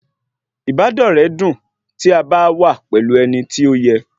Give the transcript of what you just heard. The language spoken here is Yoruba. Ìbádọ́rẹ́ dùn tí a bá wà pẹ̀lú ẹni tí ó yẹ